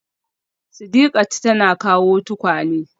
Sidiqat tana kawo tukwane